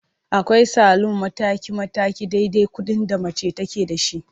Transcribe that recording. Akwai salun mataki-mataki dai-dai kuɗin da mace take da shi.